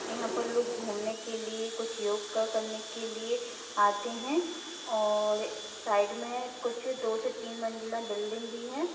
यहाँ पर लोग घूमने के लिए कुछ योगा करने के लिए आते है और साइक में कुछ दो से तीन मंजिला बिल्डिंग भी है।